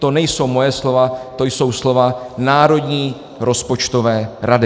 To nejsou moje slova, to jsou slova Národní rozpočtové rady.